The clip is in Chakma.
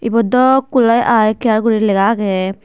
buote dow kulai eye care gori legaagay.